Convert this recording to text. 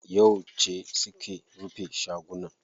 Yauce suke rufe shagunan?